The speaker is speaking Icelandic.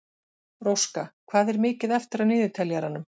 Róska, hvað er mikið eftir af niðurteljaranum?